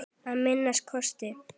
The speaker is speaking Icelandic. Að minnsta kosti.